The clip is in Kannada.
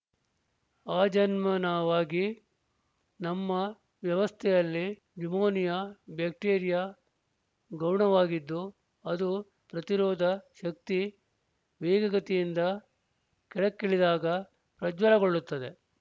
ಆಜನ್ಮ ನವಾಗಿ ನಮ್ಮ ವ್ಯವಸ್ಥೆಯಲ್ಲಿ ನ್ಯುಮೋನಿಯ ಬ್ಯಾಕ್ಟೀರಿಯ ಗೌಣವಾಗಿದ್ದು ಅದು ಪ್ರತಿರೋಧ ಶಕ್ತಿ ವೇಗಗತಿಯಿಂದ ಕೆಳಕ್ಕಿಳಿದಾಗ ಪ್ರಜ್ವಲಗೊಳ್ಳುತ್ತದೆ